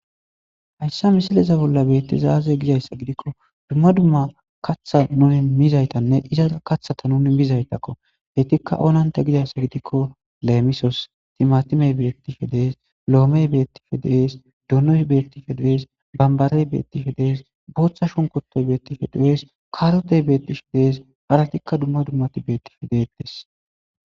hayssa misileza bolla beettizaaze gizayssa gidikko dumma dumma kaththa nuni mizaytanne izaa kathata nuni mizaytakko beytikka oonanta gidayssa gidikko leemisos timatimey beettishe dees loomey beettishe dees dunoy beettishe dees bambarey beettishe dees booththa shunkotoy beettishe de7es kaarotey beettishe dees haratikka dumma dummati beettife deettes